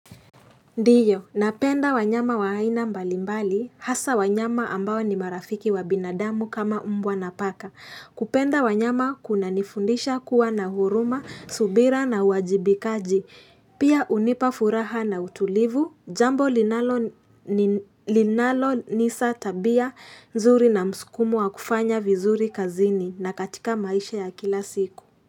Ndio, napenda wanyama wa aina mbalimbali, hasa wanyama ambao ni marafiki wa binadamu kama mbwa na paka. Kupenda wanyama kunanifundisha kuwa na huruma, subira na uwajibikaji. Pia hunipa furaha na utulivu, jambo linalo nisa tabia, nzuri na msukumo wa kufanya vizuri kazini na katika maisha ya kila siku.